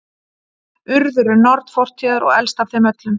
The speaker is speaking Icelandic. urður er norn fortíðar og elst af þeim öllum